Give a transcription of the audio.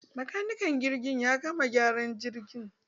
Makanikin jirgin ya gama gyaran jirgin.